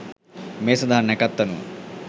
මේ සඳහා නැකැත් අනුව